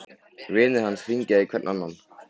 Vinir hans hringja hver í annan.